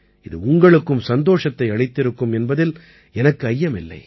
இது உங்களுக்கும் சந்தோஷத்தை அளித்திருக்கும் என்பதில் எனக்கு ஐயமில்லை